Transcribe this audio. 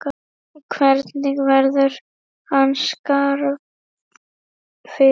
Hvernig verður hans skarð fyllt?